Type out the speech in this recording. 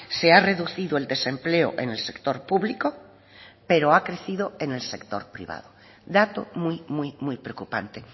se ha reducido el desempleo en el sector público pero ha crecido en el sector privado dato muy muy preocupante